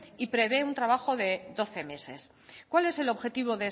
y prevé un trabajo de doce meses cuál es el objetivo